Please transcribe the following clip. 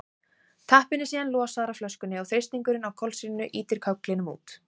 tappinn er síðan losaður af flöskunni og þrýstingurinn á kolsýrunni ýtir kögglinum út